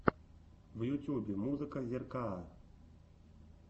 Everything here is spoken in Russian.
в ютубе музыка зеркаа